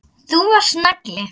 Þú varst nagli.